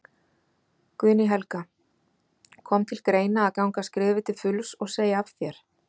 Guðný Helga: Kom til greina að ganga skrefið til fulls og, og segja af þér?